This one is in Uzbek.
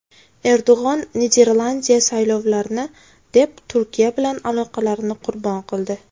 Erdo‘g‘on: Niderlandiya saylovlarni deb Turkiya bilan aloqalarini qurbon qildi.